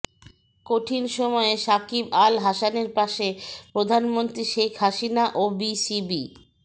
কঠিন সময়ে শাকিব আল হাসানের পাশে প্রধানমন্ত্রী শেখ হাসিনা ও বিসিবি